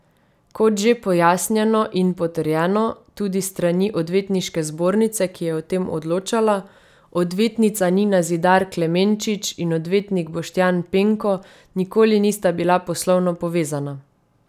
Kot že pojasnjeno in potrjeno tudi s strani Odvetniške zbornice, ki je o tem odločala, odvetnica Nina Zidar Klemenčič in odvetnik Boštjan Penko nikoli nista bila poslovno povezana.